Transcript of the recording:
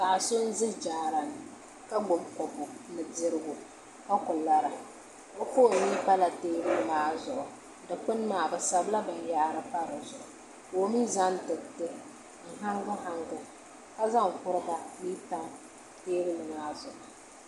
Paɣa so n ʒi jaara ni ka gbubi kopu ni dirigu ka ku lara o foon mii pala teebuli maa zuɣu dikpuni maa bi sabila binyahari pa di zuɣu ka o mii zaŋ diriti n hangi hangi ka zaŋ kuriga n tam teebuli maa zuɣu